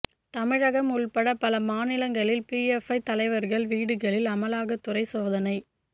தமிழகம் உட்பட பல மாநிலங்களில் பிஎப்ஐ தலைவர்கள் வீடுகளில் அமலாக்கத் துறை சோதனை